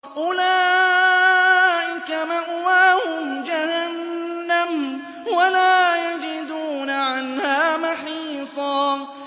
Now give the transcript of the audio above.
أُولَٰئِكَ مَأْوَاهُمْ جَهَنَّمُ وَلَا يَجِدُونَ عَنْهَا مَحِيصًا